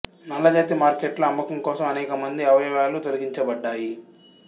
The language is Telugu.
నల్లజాతీ మార్కెట్లో అమ్మకం కోసం అనేక మంది అవయవాలు తొలగించబడ్డాయి